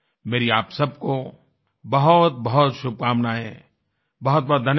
मेरी आप सबको बहुतबहुत शुभकामनाएँ बहुतबहुत धन्यवाद